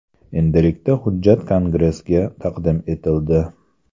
Endilikda hujjat Kongressga taqdim etildi.